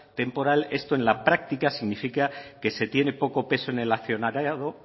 temporal esto en la práctica significa que se tiene poco peso en el accionariado